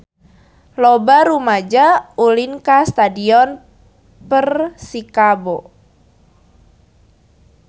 Loba rumaja ulin ka Stadion Persikabo